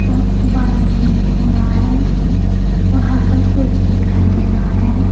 और बादल भी हो रहा है और हल्का सूरज भी दिखाई दे रहा है।